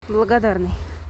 благодарный